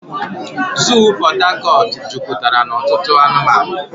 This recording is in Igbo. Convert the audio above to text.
Zoo Pot Tarcort juputara na otutu anumanu.